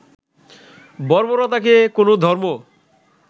বর্বরতাকে কোনো ধর্ম